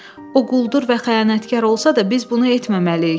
O quldur və xəyanətkar olsa da, biz bunu etməməliyik.